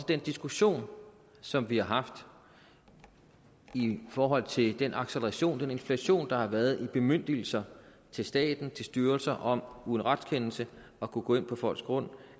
den diskussion som vi har haft i forhold til den acceleration den inflation der har været i bemyndigelser til staten til styrelser om uden retskendelse at kunne gå ind på folks grund